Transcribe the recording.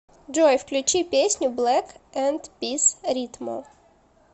джой включи песню блек энд пис ритмо